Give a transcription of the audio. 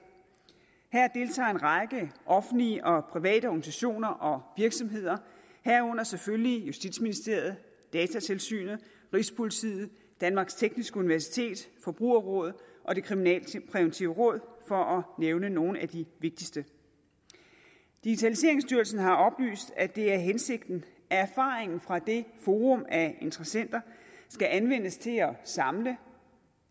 her deltager en række offentlige og private organisationer og virksomheder herunder selvfølgelig justitsministeriet datatilsynet rigspolitiet danmarks tekniske universitet forbrugerrådet og det kriminalpræventive råd for at nævne nogle af de vigtigste digitaliseringsstyrelsen har oplyst at det er hensigten at erfaringen fra det forum af interessenter skal anvendes til at samle